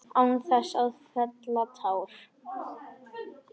Án þess að fella tár.